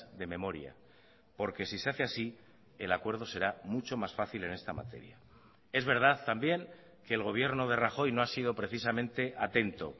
de memoria porque si se hace así el acuerdo será mucho más fácil en esta materia es verdad también que el gobierno de rajoy no ha sido precisamente atento